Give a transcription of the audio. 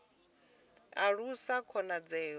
alusa khonadzeo ya u bvela